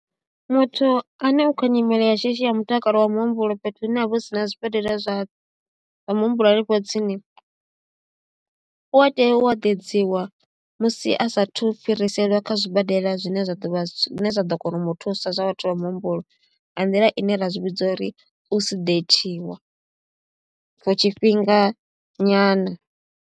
Muthu ane u khou nyimele ya shishi ya mutakalo wa muhumbulo fhethu hune ha vha hu si na zwibadela zwa zwa muhumbulo hanefho tsini u a tea u eḓedziwa musi a sa athu fhiriselwa kha zwibadela zwine zwa ḓo vha zwine zwa ḓo kona u mu thusa zwa vhathu vha muhumbulo nga nḓila ine ra zwi vhidza uri u sedateiwa for tshifhinga nyana.